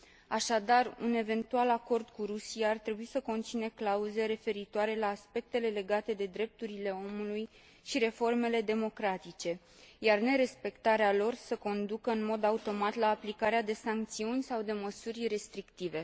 Așadar, un eventual acord cu Rusia ar trebui să conțină clauze referitoare la aspectele legate de drepturile omului și reformele democratice, iar nerespectarea lor să conducă în mod automat la aplicarea de sancțiuni sau de măsuri restrictive.